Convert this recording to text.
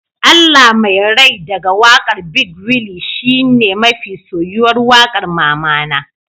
Allah Mai rai daga wakar big willy shine mafi soyuwar waƙar mamana